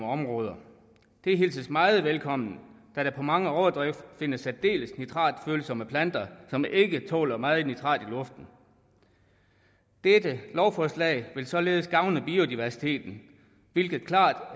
områder det hilses meget velkommen da der på mange overdrev findes særdeles nitratfølsomme planter som ikke tåler meget nitrat i luften dette lovforslag vil således gavne biodiversiteten hvilket klart